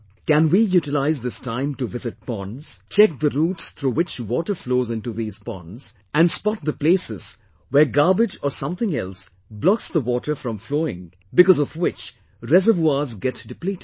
Can we utilise this time to visit ponds, check the routes through which water flows into these ponds and spot the places where garbage or something else blocks the water from flowing, because of which reservoirs get depleted